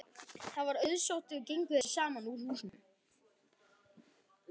Það var auðsótt og gengu þeir saman úr húsinu.